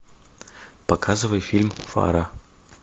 показывай фильм фара